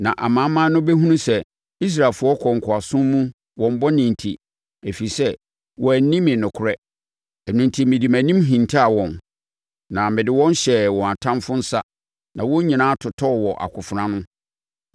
Na amanaman no bɛhunu sɛ Israelfoɔ kɔɔ nkoasom mu wɔn bɔne enti, ɛfiri sɛ wɔanni me nokorɛ. Ɛno enti mede mʼanim hintaa wɔn, na mede wɔn hyɛɛ wɔn atamfoɔ nsa na wɔn nyinaa totɔɔ wɔ akofena ano.